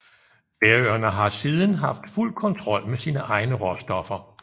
Færøerne har siden haft fuld kontrol med sine egne råstoffer